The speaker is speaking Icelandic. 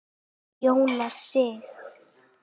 Jónas Sig.